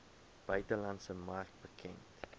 buitelandse mark bekend